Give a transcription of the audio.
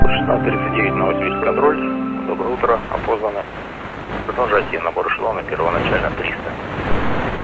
шестнадцать тридцать девять новосибирск контроль доброе утро опознано продолжайте набор эшелона первоначально триста